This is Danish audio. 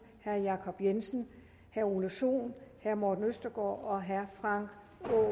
herre jacob jensen herre ole sohn herre morten østergaard og herre frank